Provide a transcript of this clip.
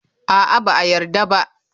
A'a, ba a yarda ba.